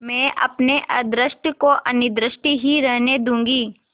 मैं अपने अदृष्ट को अनिर्दिष्ट ही रहने दूँगी